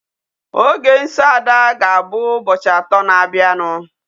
Oge nsọ ada ga-abụ ụbọchi.